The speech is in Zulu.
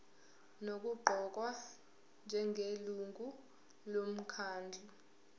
nokuqokwa njengelungu lomkhandlu